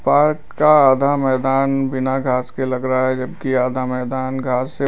part का आधा मैदान बिना घास के लग रहा है जबकि आधा मैदान घास से--